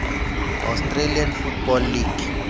australian football league